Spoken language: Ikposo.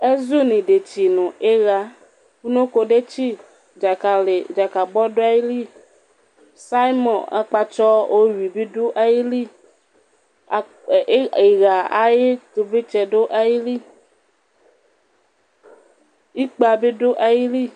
ɛzu n'idetsi no iɣá unoko detsi dzakali dzakabɔ do ayili salmɔn akpatsɔ owi bi do ayili iɣà ay'ivlitsɛ do ayili ikpa bi do ayili